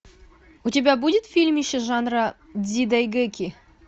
у тебя будет фильмище жанра дзидайгэки